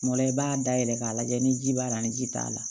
Kuma dɔ la i b'a dayɛlɛ k'a lajɛ ni ji b'a la ni ji t'a la